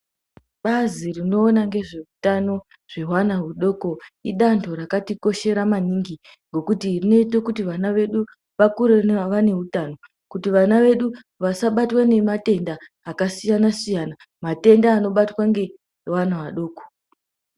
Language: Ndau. Bazi rinoona ngezvehutano zvevana hudoko idanho rakatikoshera maningi, ngekuti rinoite kuti vana vedu vakure vaneutano kuti vana vedu vasabatwe nematenda akasiyana-siyana, matenda anobatwa ngeana adoko.